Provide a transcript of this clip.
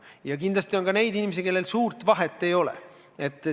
Ja kindlasti on neidki inimesi, kellel suurt vahet ei ole.